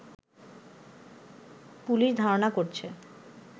police ধারণা করছে